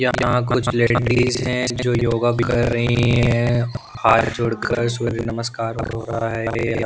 यहाँ कुछ लेडीज हैं जो योगा भी कर रही हैं हाथ जोड़कर सूर्य नमस्कार हो रहा हैं ।